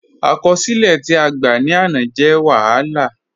Akọsilẹ̀ ti a gbá ni áná jẹ̀ wahálà.